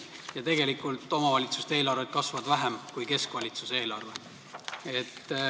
Ja tegelikult omavalitsuste eelarved kasvavad vähem kui keskvalitsuse eelarve.